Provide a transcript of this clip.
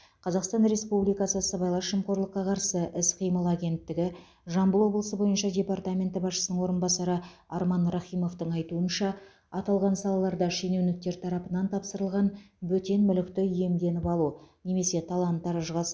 қазақстан республикасы сыбайлас жемқорлыққа қарсы іс қимыл агенттігі жамбыл облысы бойынша департаменті басшысының орынбасары арман рахимовтың айтуынша аталған салаларда шенеуніктер тарапынан тапсырылған бөтен мүлікті иемденіп алу немесе талан таражға